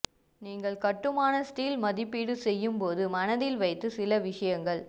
நீங்கள் கட்டுமான ஸ்டீல் மதிப்பீடு செய்யும் போது மனதில் வைத்து சில விஷயங்கள்